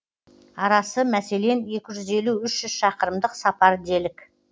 арасы мәселен екі жүз елу үш жүз шақырымдық сапар делік